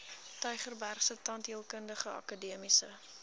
tygerbergse tandheelkundige akademiese